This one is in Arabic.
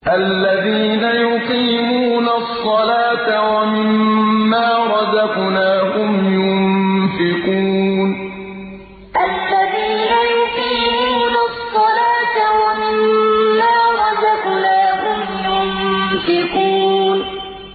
الَّذِينَ يُقِيمُونَ الصَّلَاةَ وَمِمَّا رَزَقْنَاهُمْ يُنفِقُونَ الَّذِينَ يُقِيمُونَ الصَّلَاةَ وَمِمَّا رَزَقْنَاهُمْ يُنفِقُونَ